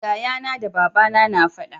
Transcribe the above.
yaya na da babana na faɗa